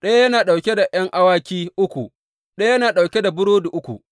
Ɗaya yana ɗauke da ’yan awaki uku, ɗaya yana ɗauke da burodi uku,